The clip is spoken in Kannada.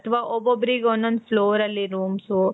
ಅಥವಾ ಒಬ್ಬೊಬ್ಬರಿಗೆ ಒಂದೊಂದು ಫ್ಲೋರಲ್ಲಿ rooms.